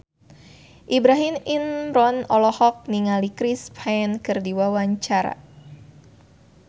Ibrahim Imran olohok ningali Chris Pane keur diwawancara